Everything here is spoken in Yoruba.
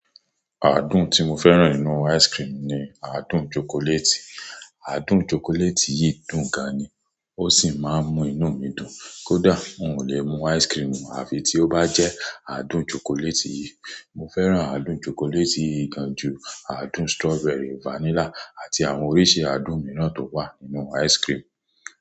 Àádùn tí mo fẹ́ràn nínú ice cream ni àádùn chocolate. Àádùn chocolate yìí dùn gan-an ni, ó sì máa ń mú inú mi dùn. Kódà n ò lè mú ice cream àfi tí ó bá jẹ́ àádùn chocolate yìí. Mo fẹ́ràn àádùn chocolate yii gan ju àádùn strawberry, vanilla àti àwọn oríṣi àádùn míràn tó wà nínú ice cream.